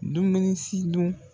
Dumuni si dun.